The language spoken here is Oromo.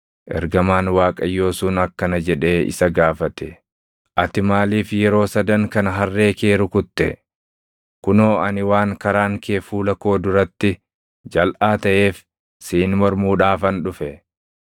Ergamaan Waaqayyoo sun akkana jedhee isa gaafate; “Ati maaliif yeroo sadan kana harree kee rukutte? Kunoo ani waan karaan kee fuula koo duratti jalʼaa taʼeef siin mormuudhaafan dhufe.